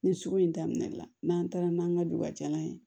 Ni sugu in daminɛna n'an taara n'an ka dugubajalan ye